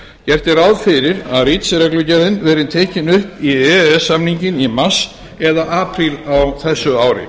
gert er ráð fyrir að reach reglugerðin verði tekin upp í e e s samninginn í mars eða apríl á þessu ári